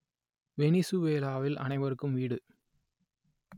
வெனிசுவேலாவில் அனைவருக்கும் வீடு